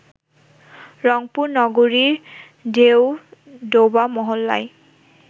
রংপুর নগরীর ডেওডোবা মহল্লায়